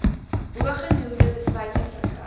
bogenoemde besluite verkry